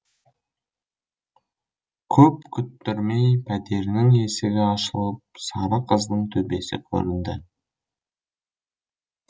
көп күттірмей пәтерінің есігі ашылып сары қыздың төбесі көрінді